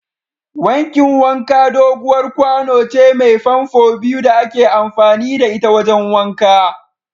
Wankin wanka doguwar kwano ce mai famfo biyu da ake amfani da ita wajen wanka.